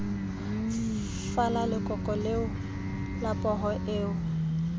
fala lekoko la pholo eo